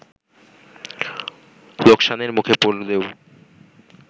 লোকসানের মুখে পড়লেও